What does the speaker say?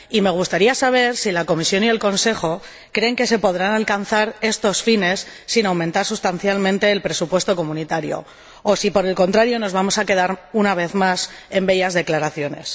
Me gustaría saber si la Comisión y el Consejo creen que se podrán alcanzar estos fines sin aumentar sustancialmente el presupuesto comunitario o si, por el contrario, nos vamos a quedar una vez más en bellas declaraciones.